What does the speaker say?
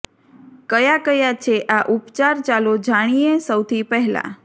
કયા કયા છે આ ઉપચાર ચાલો જાણીએ સૌથી પહેલા